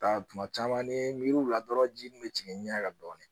Taa kuma caman ni n ye miiri u la dɔrɔn ji min bɛ tigɛ nɛ kan dɔɔnin